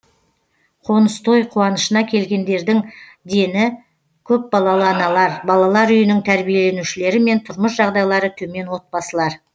қоныс той қуанышына келгендердің дені көпбалалы аналар балалар үйінің тәрбиеленушілері мен тұрмыс жағдайлары төмен отбасылар